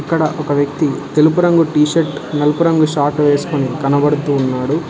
ఇక్కడ ఒక వ్యక్తి తెలుపు రంగు టీ షర్ట్ నలుపు రంగు షాట్ వేసుకుని కనబడుతూ ఉన్నాడు.